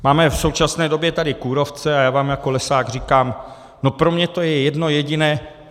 Máme v současné době tady kůrovce a já vám jako lesák říkám: No, pro mě je to jedno jediné.